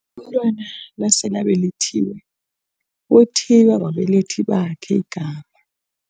Umntwana nasele abelethiwe uthiywa babelethi bakhe igama.